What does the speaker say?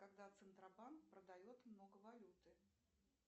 когда центробанк продает много валюты